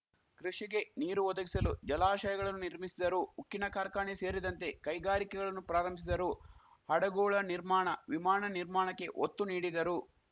ಕೃಷಿಗೆ ನೀರು ಒದಗಿಸಲು ಜಲಾಶಗಳನ್ನು ನಿರ್ಮಿಸಿದರು ಉಕ್ಕಿನ ಕಾರ್ಖಾಣೆ ಸೇರಿದಂತೆ ಕೈಗಾರಿಕೆಗಳನ್ನು ಪ್ರಾರಂಭಿಸಿದರು ಹಡಗುಳ ನಿರ್ಮಾಣ ವಿಮಾನ ನಿರ್ಮಾಣಕ್ಕೆ ಒತ್ತು ನೀಡಿದರು